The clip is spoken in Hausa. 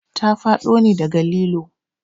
Ta faɗo ne daga lilo